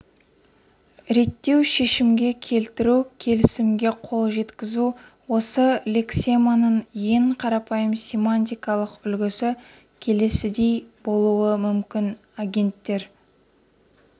реттеу шешімге келтіру келісімге қол жеткізу осы лексеманың ең қарапайым семантикалық үлгісі келесідей болуы мүмкін агенттер